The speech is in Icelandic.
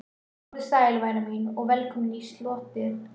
Komdu sæl, væna mín, og velkomin í slotið.